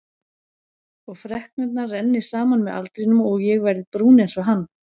Og freknurnar renni saman með aldrinum og ég verði brún einsog hann.